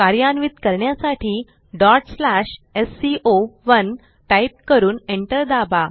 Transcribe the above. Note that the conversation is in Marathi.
कार्यान्वित करण्यासाठी sco1 टाईप करून एंटर दाबा